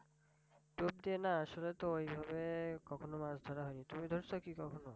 ডুব দিয়ে না আসলে তো ঐভাবে কখনো মাছ ধরা হয় নি তুমি ধরছ কি কখনো?